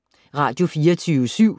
Radio24syv